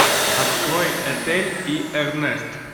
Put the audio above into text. открой этель и эрнест